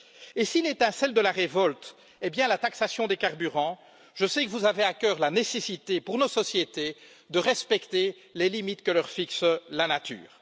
Et si l'étincelle de la révolte est bien la taxation des carburants, je sais que vous avez à cœur la nécessité que nos sociétés respectent les limites que leur fixe la nature.